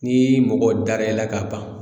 Ni mɔgɔ dara e la ka ban